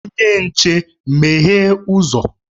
Onye nche, meghee uzo!